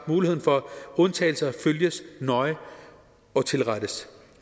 muligheden for undtagelse følges nøje og tilrettes